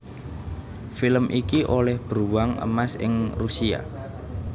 Film iki olêh Bruwang Emas ing Rusia